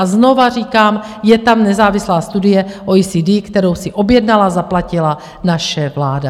A znova říkám, je tam nezávislá studie OECD, kterou si objednala a zaplatila naše vláda.